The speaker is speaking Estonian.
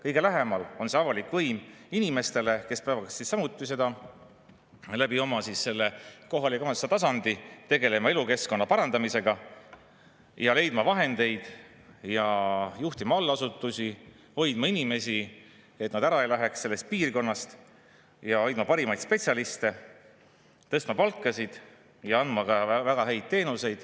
Kõige lähemal on see avalik võim inimestele, kes peavad samuti oma kohaliku omavalitsuse tasandil tegelema elukeskkonna parandamisega, leidma vahendeid, juhtima allasutusi, hoidma inimesi, et nad ära ei läheks sellest piirkonnast, hoidma parimaid spetsialiste, tõstma palkasid ja andma ka väga häid teenuseid.